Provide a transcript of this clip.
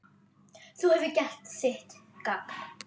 Þú hefur gert þitt gagn.